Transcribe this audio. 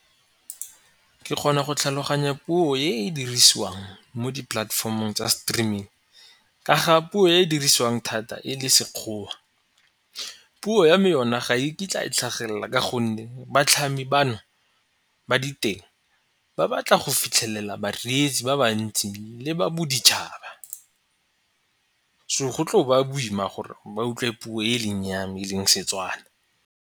Ke kgona go tlhaloganya puo e e dirisiwang mo di-platformong tsa streaming ka ga puo e e dirisiwang thata e le Sekgowa. Puo ya me yona ga e kitla e tlhagelela ka gonne batlhami bano ba diteng, ba batla go fitlhelela bareetsi ba ba ntsi le ba boditšhaba. So go tlo ba boima gore ba utlwe puo e leng yame e leng Setswana.